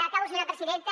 acabo senyora presidenta